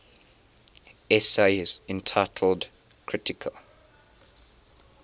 essays entitled kritika